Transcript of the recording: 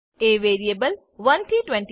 એ variable 1 થી 20